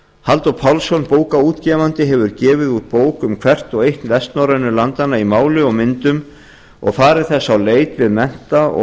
halldór pálsson bókaútgefandi hefur gefið út bók um hvert og eitt vestnorrænu landanna í máli og myndum og farið þess á leit við mennta og